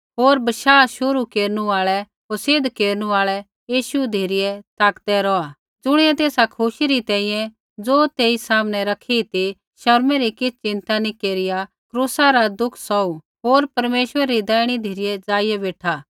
होर बशाह शुरू केरनु आल़ै होर सिद्ध केरनु आल़ै यीशु धिरै ताकदै रौहा ज़ुणियै तेसा खुशी री तैंईंयैं ज़ो तेई सामनै रखी ती शर्मै री किछ़ चिन्ता नी केरिआ क्रूसा रा दुख सौहू होर परमेश्वरै री दैहिणी धिरै ज़ाइआ बेठा